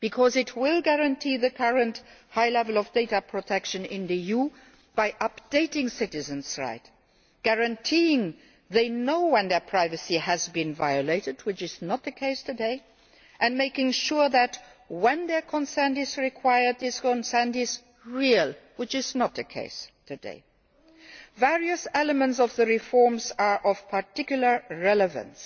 It will guarantee the current high level of data protection in the EU by updating citizens' rights, guaranteeing that they know when their privacy has been violated, which is not the case today, and making sure that, when their consent is required, this consent is real, which is also not the case today. Various elements of the reform are of particular relevance.